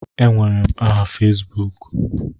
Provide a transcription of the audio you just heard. Enwere m aha Fesbuku.